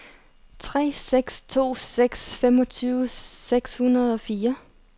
tre seks to seks femogtyve seks hundrede og fire